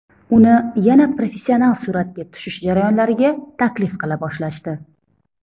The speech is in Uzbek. Uni yana professional suratga tushish jarayonlariga taklif qila boshlashdi.